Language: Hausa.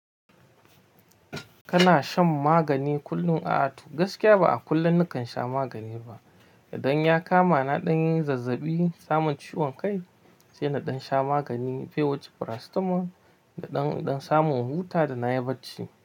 Kana shan magani kullum? A'a to, gaskiya ba a kullum nakan sha magani ba. Idan ya kama na ɗan yin zazzaɓi, samon ciwon kai, sai na ɗan sha magani pewuce paracetamol da ɗan ɗan samu in huta da na yi barci.